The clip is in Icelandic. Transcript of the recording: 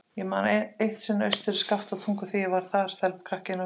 Ég man eitt sinn austur í Skaftártungu, þegar ég var þar, stelpukrakki innan við fermingu.